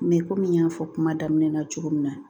Mɛ komi n y'a fɔ kuma daminɛ na cogo min na